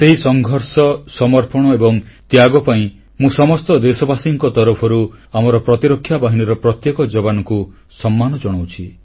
ସେହି ସଂଘର୍ଷ ସମର୍ପଣ ଏବଂ ତ୍ୟାଗ ପାଇଁ ମୁଁ ସମସ୍ତ ଦେଶବାସୀଙ୍କ ତରଫରୁ ଆମର ପ୍ରତିରକ୍ଷା ବାହିନୀର ପ୍ରତ୍ୟେକ ଯବାନଙ୍କୁ ସମ୍ମାନ ଜଣାଉଛି